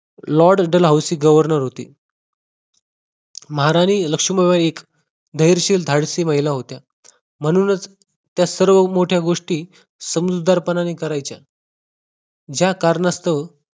Lord Dalhousie governor होते महाराणी लक्ष्मीबाई धैर्यशील धाडसी महिला होत्या म्हणूनच त्या सर्व मोठ्या गोष्टी समजूतदार कोणी करायचे ज्या कारणास्तव